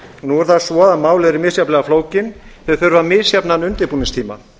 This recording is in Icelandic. nú er það svo að mál eru misjafnlega flókin þau þurfa misjafnan undirbúningstíma